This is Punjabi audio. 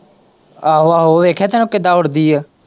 ਆਹੋ-ਆਹੋ ਵੇਖਿਆ ਥਾਂ ਨਾ ਕਿੱਦਾ ਉੱਡਦੀ ਏ।